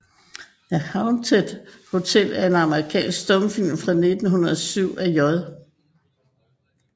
The Haunted Hotel er en amerikansk stumfilm fra 1907 af J